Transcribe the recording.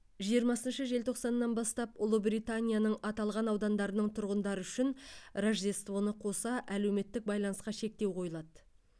жиырмасыншы желтоқсаннан бастап ұлыбританияның аталған аудандарының тұрғындары үшін рождествоны қоса әлеуметтік байланысқа шектеу қойылады